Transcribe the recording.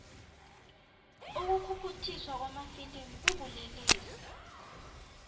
ukukhukhuthiswa kwamafilimu kubulelesi